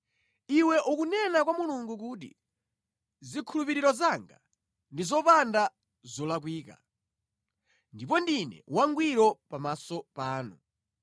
Iwe ukunena kwa Mulungu kuti, ‘Zikhulupiriro zanga ndi zopanda zolakwika ndipo ndine wangwiro pamaso panu.’